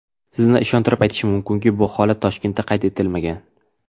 Sizni ishontirib aytishim mumkinki, bu holat Toshkentda qayd etilmagan.